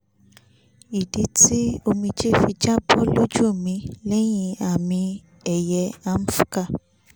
ìdí tí omijé fi jábọ́ lójú mi lẹ́yìn àmì-ẹ̀yẹ amvca